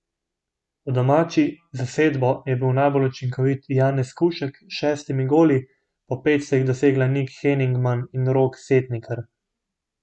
V domači zasedbo je bil najbolj učinkovit Janez Skušek s šestimi goli, po pet sta jih dosegla Nik Henigman in Rok Setnikar.